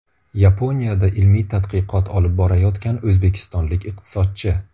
Yaponiyada ilmiy tadqiqot olib borayotgan o‘zbekistonlik iqtisodchi.